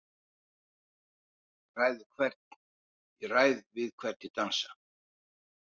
Ég ræð við hvern ég dansa,